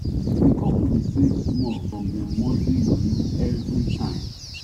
di couple dey save small from dem monthly money every time